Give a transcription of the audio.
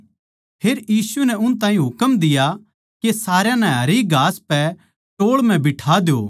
फेर यीशु नै उन ताहीं हुकम दिया के सारया नै हरी घास पै टोळ म्ह बिठा द्यो